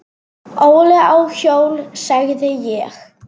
Óli á hjól, sagði ég.